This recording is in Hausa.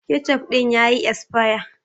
Ketchup din ya yi esaya.